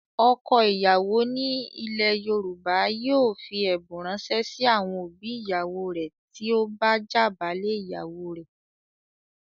Ọkọ ìyàwó ni ilẹ̀ Yorùbá yóò fi ẹ̀bùn ránṣẹ́ sí àwọn òbí ìyàwó rẹ̀ tí ó bá jàbálé ìyàwó rẹ̀.